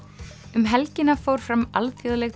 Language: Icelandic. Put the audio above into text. um helgina fór fram alþjóðleg